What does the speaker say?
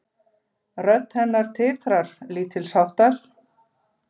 Rödd hennar titrar lítilsháttar.